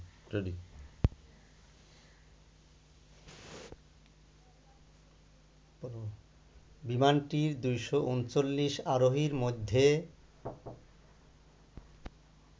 বিমানটির ২৩৯ আরোহীর মধ্যে